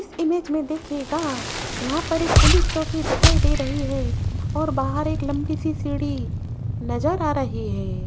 इस इमेज में देखिएगा यहां पर एक पुलिस चौकी दिखाई दे रही है और बाहर एक लंबी सी सीढ़ी नजर आ रही है।